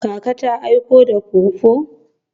Kaka ta aiko da pawpaw?